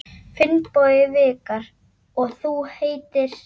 Finnbogi Vikar: Og þú heitir?